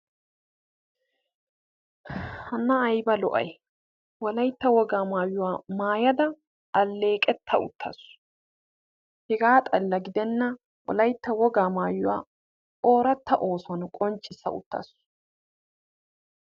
Hanaa ayba lo"ay wolaytta wogaa maayuwaa maayada alleeqetta uttasu; hegaa xalla gidenna wolaytta wogaa maayuwa oratta ossuwan qonccissa uttasu.